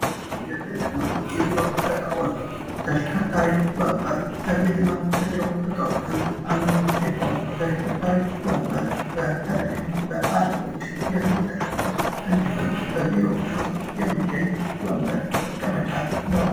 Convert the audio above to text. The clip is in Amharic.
የቤትና የቢሮ እቃዎች ተሽከርካሪ ወንበር ከቤትና ከቢሮ እቃዎች አንዱ ሲሆን ተሽከርካሪ ወንበር በተለይም በአለቆች የሚጠቀሙት እንዲሁም በቢሮዎች ውስጥ የሚገኝ ወንበር መቀመጫ ነው።